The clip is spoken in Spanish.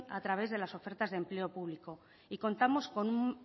a través de las ofertas de empleo público y contamos con un